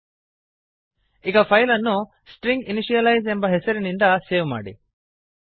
ಈಗ ಫೈಲ್ ಅನ್ನು ಸ್ಟ್ರಿಂಜಿನಿಷಿಯಲೈಜ್ ಸ್ಟ್ರಿಂಗ್ ಇನಿಶಿಯಲೈಸ್ ಎಂಬ ಹೆಸರಿನಿಂದ ಸೇವ್ ಮಾಡಿ